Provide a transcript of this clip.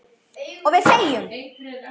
Og við þegjum.